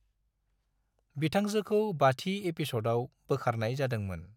बिथांजोखौ बाथि एपिस'डआव बोखारनाय जादोंमोन।